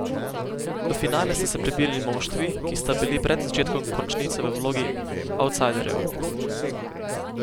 V finale sta se prebili moštvi, ki sta bili pred začetkom končnice v vlogi avtsajderjev.